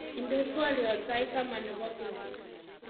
inde twolyot sait taman nebo beet